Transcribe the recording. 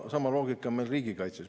Sama loogika on meil riigikaitses.